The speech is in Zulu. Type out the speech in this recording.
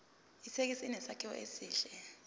ithekisi inesakhiwo esihle